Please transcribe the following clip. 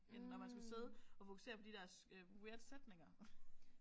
End når man skulle sidde og fokusere på de der weird sætninger